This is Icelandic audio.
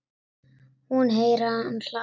Hún heyrir að hann hlær.